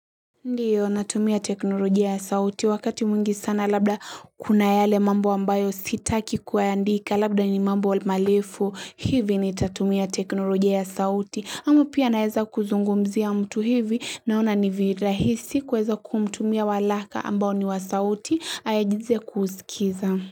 Ndiyo natumia teknolojia ya sauti wakati mwingi sana labda kuna yale mambo ambayo sitaki kuyaandika labda ni mambo malefu hivi nitatumia teknolojia ya sauti ama pia naeza kuzungumzia mtu hivi naona ni virahisi kuweza kumtumia walaka ambao ni wa sauti ayajize kuuskiza.